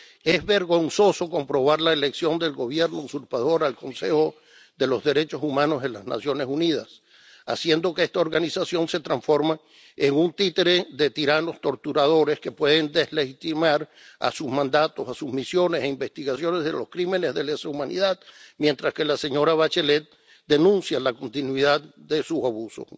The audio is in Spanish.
Es vergonzoso comprobar la elección del Gobierno usurpador al Consejo de los Derechos Humanos en las Naciones Unidas, haciendo que esta organización se transforme en un títere de tiranos torturadores que pueden deslegitimar sus mandatos, sus misiones e investigaciones de los crímenes de lesa humanidad, mientras que la señora Bachelet denuncia la continuidad de esos abusos.